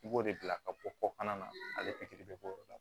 I b'o de bila ka bɔ kɔkan na ale pikiri bɛ bɔ o la